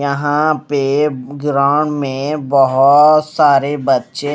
यहां पे ग्राउंड में बहोत सारे बच्चे--